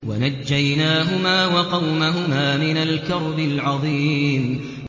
وَنَجَّيْنَاهُمَا وَقَوْمَهُمَا مِنَ الْكَرْبِ الْعَظِيمِ